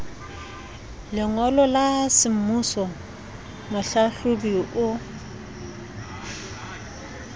lengolo la semmuso mohlahlobi o